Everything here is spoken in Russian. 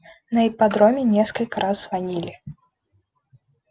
на ипподроме несколько раз звонили